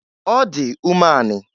Ọ dị umeanị.